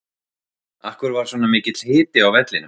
Af hverju var svona mikill hiti á vellinum?